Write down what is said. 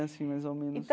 Assim, mais ou menos.